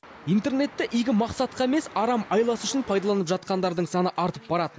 интернетті игі мақсатқа емес арам айласы үшін пайдаланып жатқандардың саны артып барады